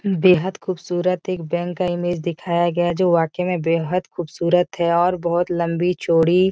बेहद खूबसूरत एक बैंक का इमेज दिखाया गया जो वाकई में बेहद खूबसूरत है और बहोत लम्बी-चौड़ी --